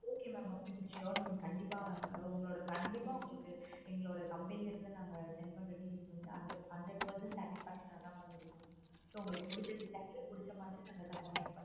okay mam okay sure mam கண்டிப்பா உங்களோட கண்டிப்பா உங்களுக்கு எங்களோட company ல இருந்து send பண்ண நாங்க send பண்ண details வந்து hundred percentage satify ஆகா இருக்கும். so உங்களுக்கு புடுச்ச design ல புடுச்ச மாதிரி நாங்க customize